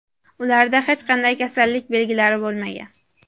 Ularda hech qanday kasallik belgilari bo‘lmagan.